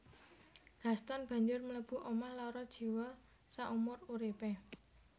Gaston banjur mlebu omah lara jiwa saumur uripé